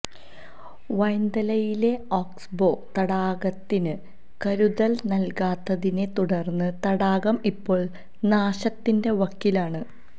വൈന്തലയിലെ oxbow തടാകത്തിന് കരുതല് നല്കാത്തതിനെ തുടര്ന്ന് തടാകം ഇപ്പോള് നാശത്തിന്റെ വക്കിലാണ്